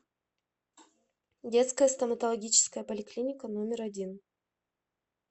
детская стоматологическая поликлиника номер один